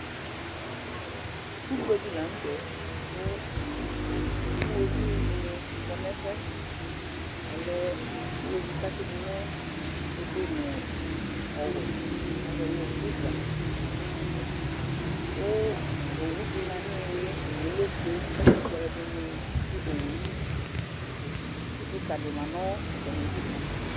Ugbe dɩ la nʋ tɛ kʋ iɣoviu dɩnɩ kɔ nʋ ɛfʋ yɛ Ɔlɛ iɣoviu dɩ kʋ atsɩ dʋ nʋ ofue nʋ ɔwɛ, azɔ nʋ zibra kʋ owu dɩ ma nʋ ɩɩlɩ yɛ, owu yɛ lɛ ofue kʋ ɛtʋfue alʋɛdɩnɩ dʋ owu yɛ li Itsu kɩka dɩ ma nʋ atamɩdu